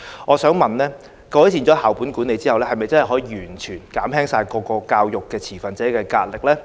我想問，改善校本管理後，是否真的可以完全減輕各個教育持份者的壓力呢？